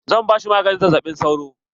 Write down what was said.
Zan ba shi maganin zazzaɓin sauro.